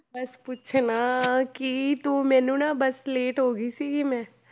ਬਸ ਪੁੱਛ ਨਾ ਕੀ ਤੂੰ ਮੈਨੂੰ ਨਾ ਬਸ late ਹੋ ਗਈ ਸੀਗੀ ਮੈਂ,